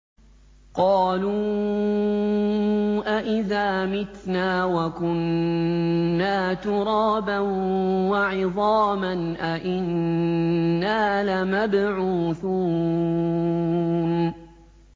قَالُوا أَإِذَا مِتْنَا وَكُنَّا تُرَابًا وَعِظَامًا أَإِنَّا لَمَبْعُوثُونَ